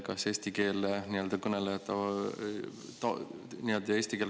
Kas eesti keele kasutus taandub või mitte?